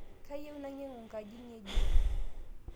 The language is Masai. Kayieu nainyangu nkaji ng'ejuk